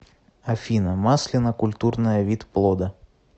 афина маслина культурная вид плода